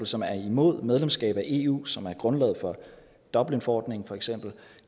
som er imod medlemskab af eu som er grundlaget for dublinforordningen for eksempel